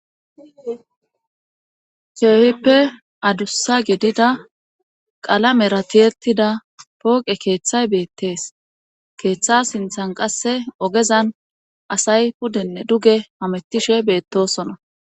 Keehippe adussa gidida qalamera tiyettida pooqe keeththay beettees keeththa sinthan qasse ogezan asay puddenne duge hamettishe beettosona.